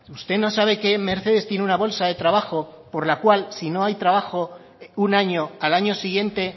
usted no sabe que mercedes tiene una bolsa de trabajo por la cual si no hay trabajo un año al año siguiente